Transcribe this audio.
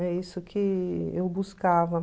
É isso que eu buscava.